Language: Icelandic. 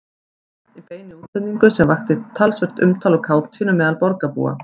Svein í beinni útsendingu sem vakti talsvert umtal og kátínu meðal borgarbúa.